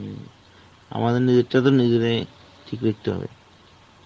আমাদের নিজেরটা তো নিজেরাই ঠিক লিখতে হবে